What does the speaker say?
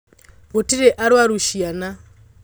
Gũtirĩarwaru ciana.